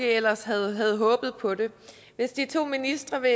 ellers havde håbet på hvis de to ministre vil